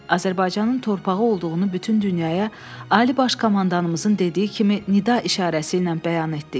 Azərbaycanın torpağı olduğunu bütün dünyaya Ali Baş Komandanımızın dediyi kimi nida işarəsi ilə bəyan etdik.